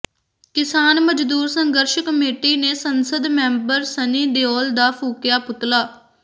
ਕਿਸਾਨ ਮਜ਼ਦੂਰ ਸੰਘਰਸ਼ ਕਮੇਟੀ ਨੇ ਸੰਸਦ ਮੈਂਬਰ ਸਨੀ ਦਿਓਲ ਦਾ ਫੂਕਿਆ ਪੁਤਲਾ